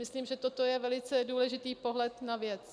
Myslím, že toto je velice důležitý pohled na věc.